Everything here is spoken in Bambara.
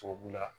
Tubabu la